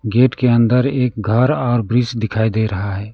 Gate के अंदर एक घर और वृक्ष दिखाई दे रहा है।